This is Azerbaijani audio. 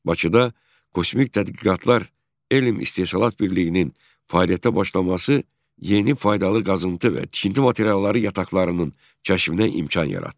Bakıda Kosmik Tədqiqatlar Elm İstehsalat Birliyinin fəaliyyətə başlaması yeni faydalı qazıntı və tikinti materialları yataqlarının kəşfinə imkan yaratdı.